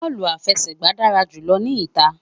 Bọọlu afẹsẹgba dara julọ ni ita